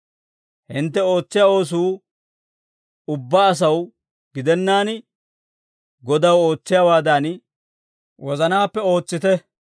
Hintte ootsiyaa oosuu ubbaa asaw gidennaan Godaw ootsiyaawaadan, wozanaappe ootsite.